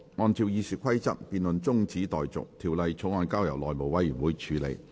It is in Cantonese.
按照《議事規則》，這辯論現在中止待續，條例草案則交由內務委員會處理。